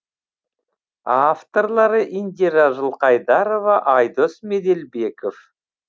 авторлары индира жылқайдарова айдос меделбеков